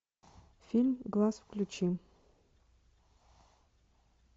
фильм глаз включи